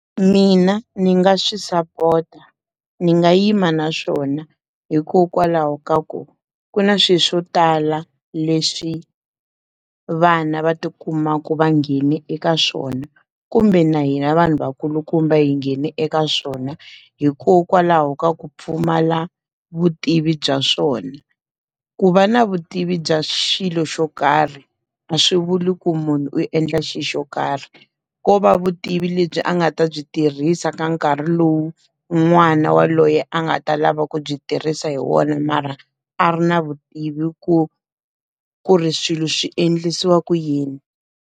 Mina ndzi nga swi sapota. Ni nga yima na swona hikokwalaho ka ku, ku na swilo swo tala leswi vana va ti kumaku va nghene eka swona kumbe na hina vanhu va kulukumba yi nghene eka swona hikokwalaho ka ku pfumala vutivi bya swona. Ku va na vutivi bya xilo xo karhi, a swi vuli ku munhu u endla xilo xo karhi. Ko va vutivi lebyi a nga ta byi tirhisa ka nkarhi lowu n'wana waloye a nga ta lava ku byi tirhisa hi wona mara, a ri na vutivi ku ku ri swilo swi endlisiwa ku yini.